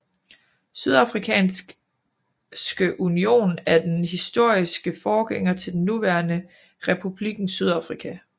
Sydafrikanske union er den historiske forgænger til den nuværende Republikken Sydafrika